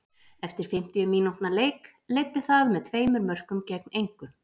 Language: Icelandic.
Eftir fimmtíu mínútna leik leiddi það með tveimur mörkum gegn engu.